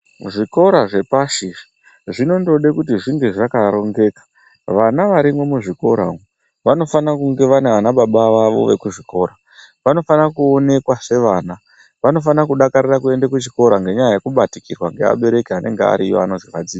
Zvikora zvepashi zvinondode kuti zvinge zvakarongeka vana varimwo muzvikora umwu vanofana kunge vana vanababa vavo vekuzvikira, vanofana kuonekwa sevana vanofana kudakarira kuende kuchikora ngenyaya yekubatikirwa ngeabereki anenge ariyo anozi vadzidzisi.